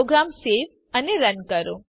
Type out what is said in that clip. programme save અને run કરો